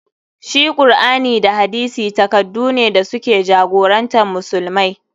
Shi Kur'ani da hadisi takaddune da su ke jagorantar musulmai.